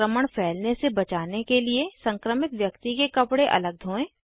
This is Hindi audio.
संक्रमण फैलने से बचाने के लिए संक्रमित व्यक्ति के कपड़े अलग धोएं